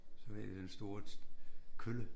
Så hvad hedder det den store kølle